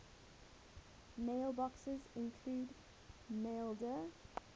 mailboxes include maildir